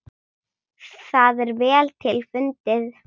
Það er vel til fundið.